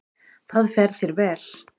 Það fer þér vel.